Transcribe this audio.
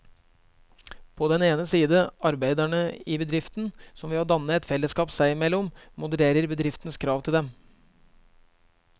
På den ene side arbeiderne i bedriften, som ved å danne et fellesskap seg imellom modererer bedriftens krav til dem.